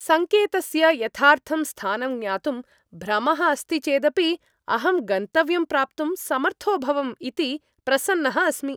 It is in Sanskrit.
सङ्केतस्य यथार्थं स्थानं ज्ञातुं भ्रमः अस्ति चेदपि, अहं गन्तव्यं प्राप्तुं समर्थोऽभवम् इति प्रसन्नः अस्मि।